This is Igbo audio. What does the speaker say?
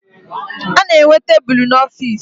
A na-enwe tebulu n'ọfiisi